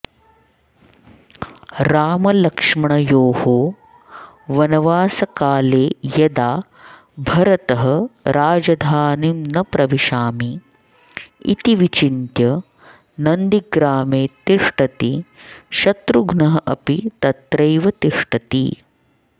रामलक्ष्मणयोः वनवासकाले यदा भरतः राजधानीं न प्रविशामि इति विचिन्त्य नन्दीग्रामे तिष्टति शत्रुघ्नः अपि तत्रैव तिष्टति